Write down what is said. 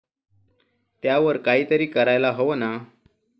त्यावर काहीतरी करायला हवं ना?